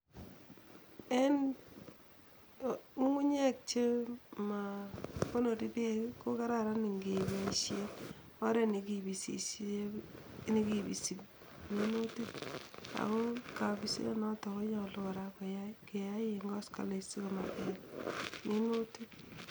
En ng'ung'unyek chemakonori bek ko kararan ngeboishe oret nekibisi minutik ako kabiset notok konyalu keyai koskoleny